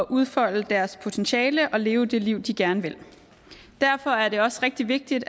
udfolde deres potentiale og leve det liv de gerne vil derfor er det også rigtig vigtigt